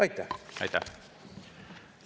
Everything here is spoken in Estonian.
Aitäh!